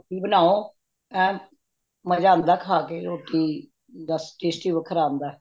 ਤੇ ਓਹਦੀ ਰੋਟੀ ਬਣਾਓ ਐਨ ਮਜਾ ਆਉਂਦਾ ਖਾਂ ਕੇ ਰੋਟੀ ਬੱਸ tasty ਵੱਖਰਾ ਆਉਂਦਾ